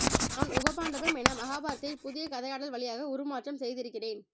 நான் உப பாண்டவம் என மகாபாரதத்தை புதிய கதையாடல் வழியாக உருமாற்றம் செய்திருக்கிறேன்